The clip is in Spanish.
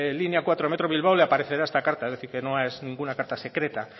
línea cuatro metro bilbao le aparecerá esta carta es decir que no es ninguna carta secreta